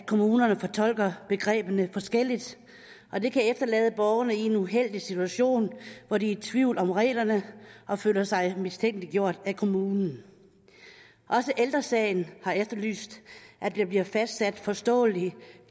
kommunerne fortolker begreberne forskelligt og det kan efterlade borgerne i en uheldig situation hvor de er i tvivl om reglerne og føler sig mistænkeliggjort af kommunen også ældre sagen har efterlyst at der bliver fastsat forståelige